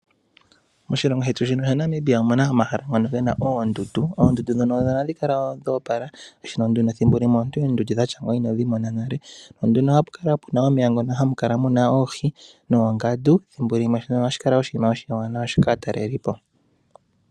Moshilongo shetu shino shaNamibia omu na omahala ngono ge na oondundu, oondundu ndhono ohadhi kala dho opala yo nduno ethimbo limwe oondundu dha tya ngeyi inodhi mona nale, nohapu kala pu na omeya ngoka haga kala ge na oohi ethimbo limwe ohashi kala oshiwanawa kaatalelipo.